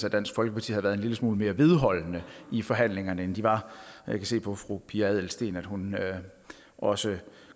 at dansk folkeparti havde været en lille smule mere vedholdende i forhandlingerne end de var jeg kan se på fru pia adelsteen at hun også